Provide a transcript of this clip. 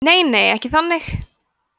nei nei ekki þannig